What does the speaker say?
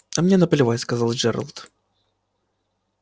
а мне наплевать сказал джералд